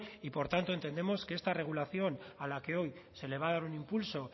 y por tanto entendemos que esta regulación a la que hoy se le va a dar un impulso